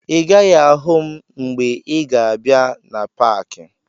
Ị gaghị ahụ m mgbe ị ga-abịa na paakị